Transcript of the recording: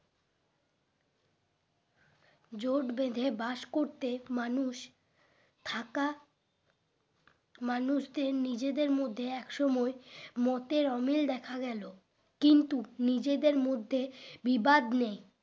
জোট বেঁধে বাস করতে মানুষ থাকা মানুষদের নিজেদের মধ্যে এক সময় মতের অমিল দেখা গেল কিন্তু নিজেদের মধ্যে বিবাদ নেই